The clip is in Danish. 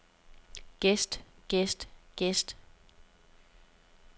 gæst gæst gæst